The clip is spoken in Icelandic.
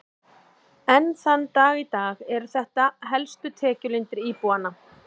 Enn þann dag í dag eru þetta helstu tekjulindir íbúanna.